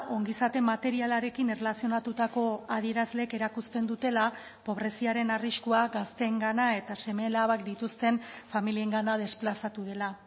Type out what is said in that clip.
ongizate materialarekin erlazionatutako adierazleek erakusten dutela pobreziaren arriskua gazteengana eta seme alabak dituzten familiengana desplazatu dela